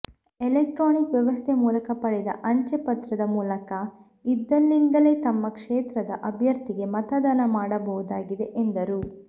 electronic ವ್ಯವಸ್ಥೆ ಮೂಲಕ ಪಡೆದ ಅಂಚೆ ಮತಪತ್ರದ ಮೂಲಕ ಇದ್ದಲ್ಲಿಂದಲೇ ತಮ್ಮ ಕ್ಷೇತ್ರದ ಅಭ್ಯರ್ಥಿಗೆ ಮತದಾನ ಮಾಡಬಹುದಾಗಿದೆ ಎಂದರು